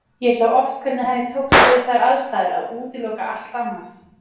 Ég sá oft hvernig henni tókst við þær aðstæður að útiloka allt annað.